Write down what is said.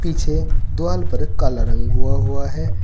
पीछे द्वाल पर काला रंग हुआ हुआ है।